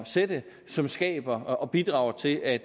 sætte som skaber og bidrager til at